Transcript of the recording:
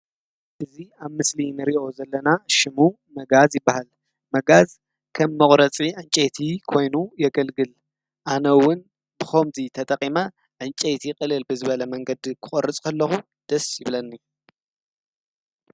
እዚ አብ ምስሊ እንሪኦ ዘለና ሽሙ መጋዝ ይበሃል ። መጋዝ ከም መቁረፂ ዕንጨይቲ ኮይኑ የገልግል። አነ እውን ብከምዚ ተጠቂመ ዕንጨይቲ ቅልል ብዝበለ መንግዲ ክቆርፅ ከለኩ ደስ ይብለኒ።